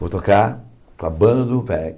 Vou tocar com a banda do